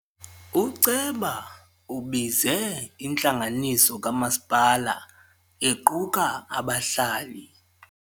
Uceba ubize intlanganiso kamasipala equka abahlali.